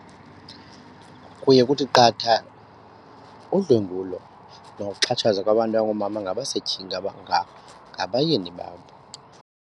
Kuye kuthi qatha udlwengulo nokuxhatshazwa kwabantu abangoomama ngabasetyhini ngabayeni babo.